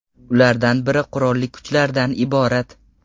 Ulardan biri qurolli kuchlardan iborat.